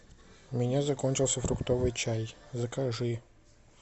у меня закончился фруктовый чай закажи